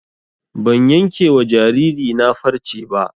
Ban yanke wa jariri na farce ba